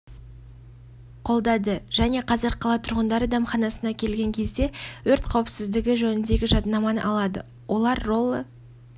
қолдады және қазір қала тұрғындары дәмханасына келген кезде өрт қауіпсіздігі жөніндегі жадынаманы алады олар роллы